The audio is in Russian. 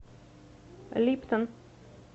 липтон